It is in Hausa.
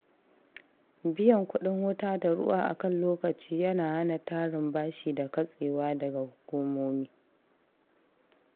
Biyan kuɗin wuta da ruwa a kan lokaci yana hana tarin bashi da katsewa daga hukumomi.